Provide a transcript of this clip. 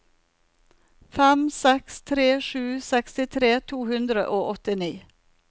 fem seks tre sju sekstitre to hundre og åttini